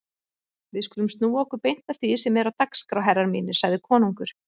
Við skulum snúa okkur beint að því sem er á dagskrá herrar mínir, sagði konungur.